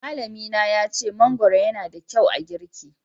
Malllami na ya ce mangoro yana da kyau a giki